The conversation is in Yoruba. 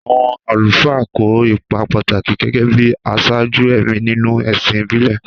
Àwọn àlùfáà kó ipa pàtàkì gẹ́gẹ́ bí aṣáájú ẹ̀mí nínú ẹ̀sìn ìbílẹ̀.